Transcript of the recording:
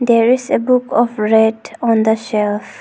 There is a book of red on the shelf.